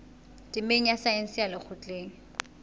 temeng ya saense ya lekgotleng